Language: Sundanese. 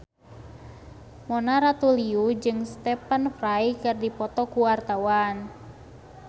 Mona Ratuliu jeung Stephen Fry keur dipoto ku wartawan